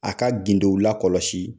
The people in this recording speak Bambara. A ka gindo la kɔlɔsi